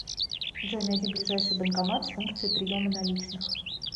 джой найди ближайший банкомат с функцией приема наличных